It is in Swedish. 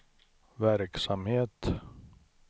verksamhet